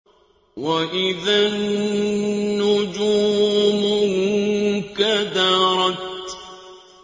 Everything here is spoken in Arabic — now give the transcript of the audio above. وَإِذَا النُّجُومُ انكَدَرَتْ